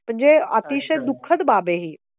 म्हणजे अतिशय दु खद बाब आहे हि